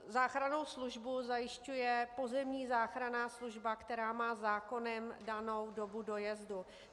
Záchrannou službu zajišťuje pozemní záchranná služba, která má zákonem danou dobu dojezdu.